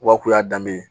Wa kun y'a danbe ye